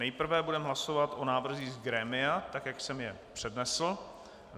Nejprve budeme hlasovat o návrzích z grémia, tak jak jsem je přednesl.